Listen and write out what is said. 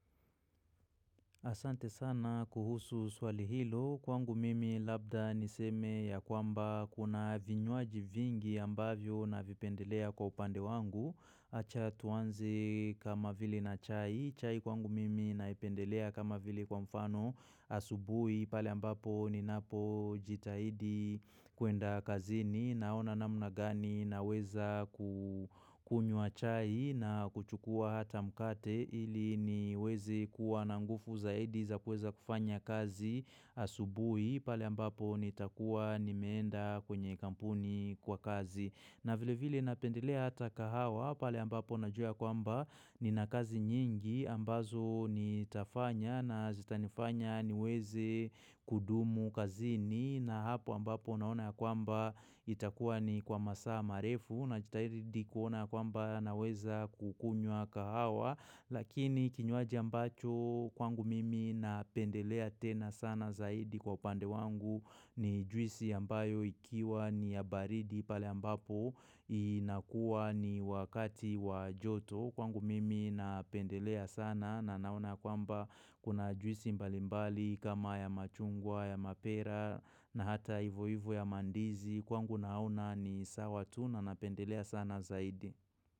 Asante sana kuhusu swali hilo. Kwangu mimi labda niseme ya kwamba kuna vinywaji vingi ambavyo na vipendelea kwa upande wangu. Acha tuanze kama vile na chai. Chai kwangu mimi naipendelea kama vile kwa mfano asubuhi pale ambapo ninapo jitahidi kuenda kazini. Naona namna gani naweza kukunywa chai na kuchukua hata mkate ili niweze kuwa na nguvu zaidi za kuweza kufanya kazi asubuhi pale ambapo nitakuwa nimenda kwenye kampuni kwa kazi. Na vile vile napendelea hata kahawa pale ambapo na jua ya kwamba nina kazi nyingi ambazo nitafanya na zitanifanya niweze kudumu kazini na hapo ambapo naona ya kwamba itakuwa ni kwa masaa marefu na jitahidi kuona kwamba naweza kukunywa kahawa. Lakini kinywaji ambacho kwangu mimi napendelea tena sana zaidi kwa upande wangu ni juisi ambayo ikiwa ni ya baridi pale ambapo inakuwa ni wakati wajoto. Kwangu mimi napendelea sana na naona ya kwamba kuna juisi mbalimbali kama ya machungwa ya mapera na hata ivo ivo ya mandizi kwangu naona ni sawa tu na napendelea sana zaidi.